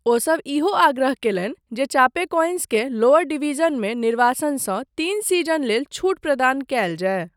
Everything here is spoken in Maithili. ओसभ ईहो आग्रह कयलनि जे चापेकोएंसकेँ लोअर डिवीजनमे निर्वासनसँ तीन सीजन लेल छूट प्रदान कयल जाय।